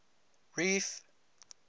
reef